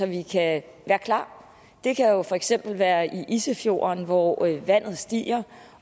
vi kan være klar det kan jo for eksempel være i isefjorden hvor vandet stiger